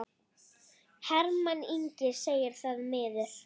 Hermann Ingi segir það miður.